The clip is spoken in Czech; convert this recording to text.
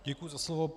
Děkuji za slovo.